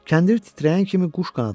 Kəndir titrəyən kimi quş qanadlandı.